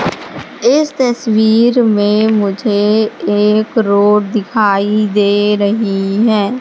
इस तस्वीर में मुझे एक रोड दिखाई दे रही है।